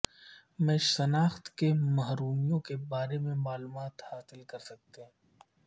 میں شناخت کی محرومیوں کے بارے میں معلومات حاصل کر سکتے ہیں